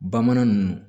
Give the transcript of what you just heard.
Bamanan nunnu